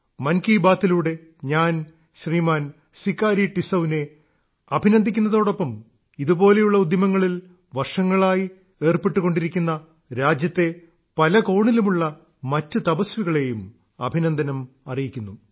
മൻ കീ ബാത്തിലൂടെ ഞാൻ ശ്രീമാൻ സികാരി ടിസൌവിനെ അഭിനന്ദിക്കുന്നതോടൊപ്പം ഇതുപോലുള്ള ഉദ്യമങ്ങളിൽ ഏർപ്പെട്ട് വർഷങ്ങളായി ഏർപ്പെട്ടുകൊണ്ടിരിക്കുന്ന രാജ്യത്തെ പല കോണിലുമുള്ള മറ്റു തപസ്വികളെയും അഭിനന്ദനം അറിയിക്കുന്നു